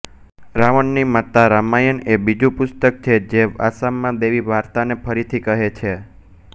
રાવણની માતા રામાયણ એ બીજું પુસ્તક છે જે આસામમાં દૈવી વાર્તાને ફરીથી કહે છે